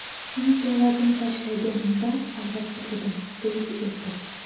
Shuncha vazn tashlaganimda hayratda edim”, deydi erkak.